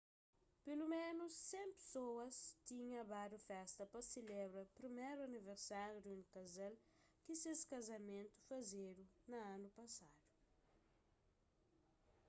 peloménus 100 pesoas tinha badu festa pa selebra priméru aniversáriu di un kazal ki ses kazamentu fazedu na anu pasadu